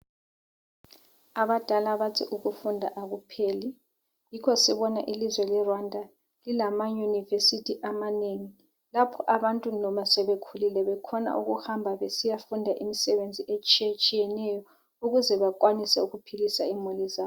Abadala bathi ukufunda akupheli. Yikho sibona ilizwe leRwanda lilamaUniversity amanengi lapho abantu noma sebekhulile bekhona ukuhamba besiyafunda imisebenzi etshiyetshiyeneyo ukuze bakwanise ukuphilisa imuli zabo.